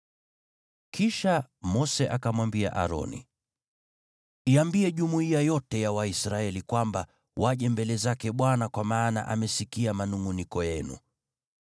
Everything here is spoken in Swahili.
Kisha Mose akamwambia Aroni, “Iambie jumuiya yote ya Waisraeli kwamba, ‘Mje mbele zake Bwana , kwa maana amesikia manungʼuniko yenu.’ ”